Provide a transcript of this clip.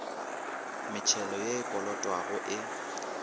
metšhelo ye e kolotwago e